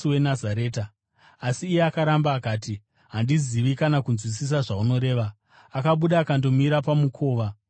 Asi iye akaramba akati, “Handizivi kana kunzwisisa zvaunoreva.” Akabuda akandomira pamukova wokupinda nawo.